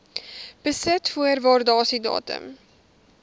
besit voor waardasiedatum